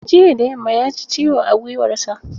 Jiya da yamma ya ji ciwo a gwiwarsa.